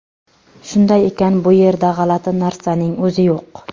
Shunday ekan, bu yerda g‘alati narsaning o‘zi yo‘q.